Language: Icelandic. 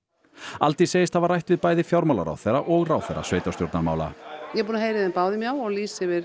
Aldís segist hafa rætt bæði við fjármálaráðherra og ráðherra sveitarstjórnarmála ég er búin að heyra í þeim báðum já og lýsa yfir